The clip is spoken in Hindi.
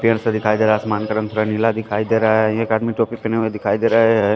पेड़ सा दिखाई दे रहा है आसमान का रंग थोड़ा नीला दिखाई दे रहा है एक आदमी टोपी पहने हुए दिखाई दे रहा है।